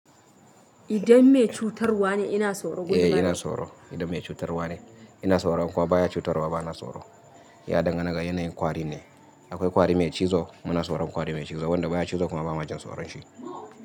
Idan mai cutarwa ne ina so ro? Eh ina so ro idan mai cutarwa ne ina so ro, in kuma ba ya cutarwa ba bana so ro. Ya dangana ga yanayin kwari ne. Akwai kwari mai cizo muna tsoron kwari mai cizo, wanda ba ya cizo kuma ba mu jin tsoron shi.